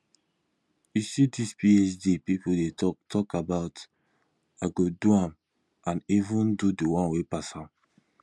you see dis phd people dey talk talk about i go do am and even do the one wey pass am